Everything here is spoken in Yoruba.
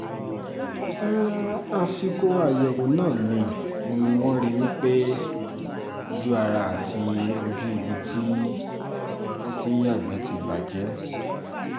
àsìkò àyẹ̀wò náà ni wọ́n rí i pé ojú ara àti ojú ibi tó ti ń yàgbẹ́ ti bàjẹ́